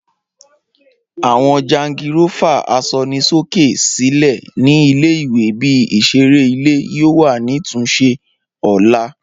Awọn jangirófà asọnisóké sílẹ̀ ni ìle-ìwe ibi isereile yoo wa ni tunše ọla.